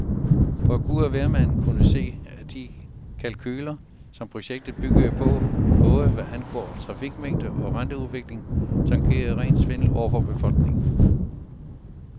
For gud og hvermand kunne se, at de kalkuler, som projektet byggede på, både hvad angår trafikmængde og renteudvikling, tangerede ren svindel over for befolkningen.